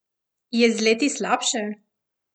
Je z leti slabše?